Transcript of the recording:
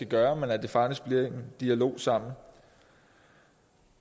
gøre men at der faktisk bliver en dialog så